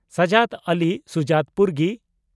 Sajad Ali Sujat (ᱯᱩᱨᱜᱤ)